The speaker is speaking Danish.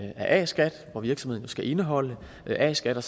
af a skat hvor virksomheden jo skal indeholde a skat og